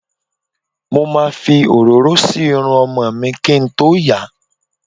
Mo ma fi òróró si Irun ọmọ mi kín tó yà.